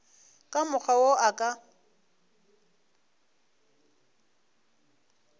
ka mokgwa wo a ka